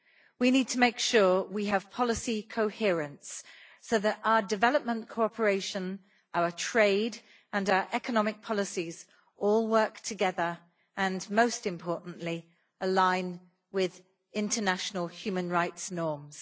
We need to make sure we have policy coherence so that our development cooperation, our trade and our economic policies all work together and, most importantly, align with international human rights norms.